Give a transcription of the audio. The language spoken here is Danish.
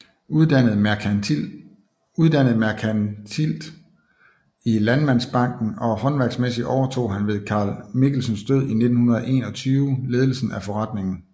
Uddannet merkantilt i Landmandsbanken og håndværksmæssigt overtog han ved Carl Michelsens død i 1921 ledelsen af forretningen